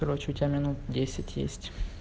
короче у тебя минут десять есть